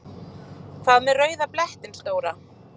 Hvað með rauða blettinn stóra?